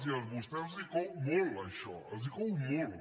i a vostès els cou molt això els cou molt